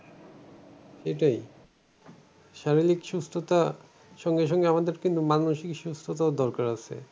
এটাই শারীরিক সুস্থতা সঙ্গে সঙ্গে আমাদের কিন্তু মানসিক সুস্থতাও দরকার আছে।